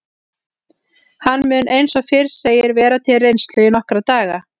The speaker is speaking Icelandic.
Hann mun eins og fyrr segir vera til reynslu í nokkra daga.